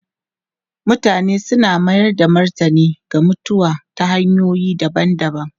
Mutane suna mayar da martani ga mutuwa ta hanyoyi daban-daban.